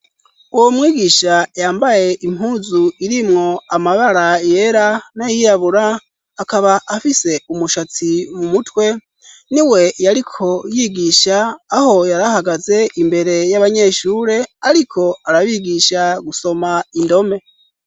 Uwo mwigisha yambaye impuzu irimwo amabara yera n'ayiyabura akaba afise umushatsi mu mutwe ni we yariko yigisha aho yarahagaze imbere y'abanyeshure, ariko arabigisha gusoma indome.